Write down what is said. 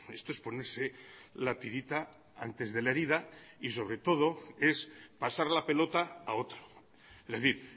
esto es ponerse la tirita antes de la herida y sobre todo es pasar la pelota a otro es decir